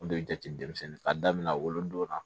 O de bɛ jate denmisɛnnin k'a daminɛ wolodon na